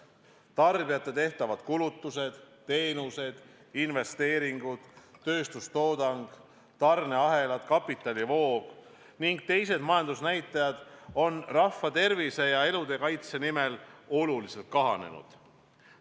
Tarbijate tehtavad kulutused, teenused, investeeringud, tööstustoodang, tarneahelad, kapitalivood ning teised majandusnäitajad on rahva tervise ja inimelude kaitse nimel oluliselt kahanenud.